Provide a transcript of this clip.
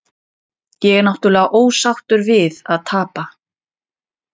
Ég er náttúrulega ósáttur við að tapa.